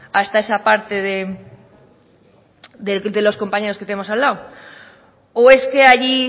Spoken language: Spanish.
hasta esa parte de los compañeros que tenemos al lado o es que allí